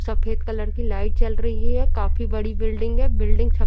सफ़ेद कलर की लाइट जल रही है काफी बड़ी बिल्डिंग है। बिल्डिंग सफ़ेद --